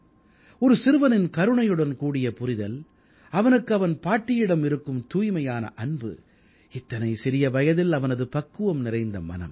ஒரு சிறுவனின் கருணையுடன் கூடிய புரிதல் அவனுக்கு அவன் பாட்டியிடம் இருக்கும் தூய்மையான அன்பு இத்தனை சிறிய வயதில் அவனது பக்குவம் நிறைந்த மனம்